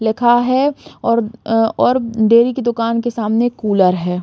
लिखा है और अ और डेयरी के दुकान के सामने एक कूलर है।